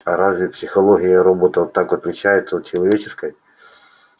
а разве психология роботов так отличается от человеческой